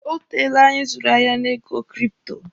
O teele anyi zụrụ ahịa na ego kripto.